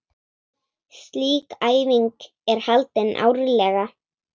Slík æfing er haldin árlega.